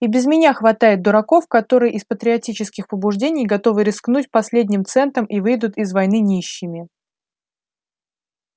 и без меня хватает дураков которые из патриотических побуждений готовы рискнуть последним центом и выйдут из войны нищими